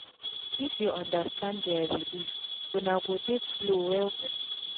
if u understand dia belief una go det flow well wel